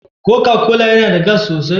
Coca-Cola yana da gas sosai?